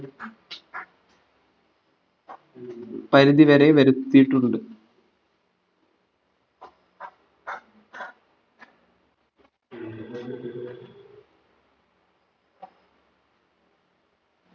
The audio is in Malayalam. പരുതിവരെ വരുത്തിയിട്ടുണ്ട്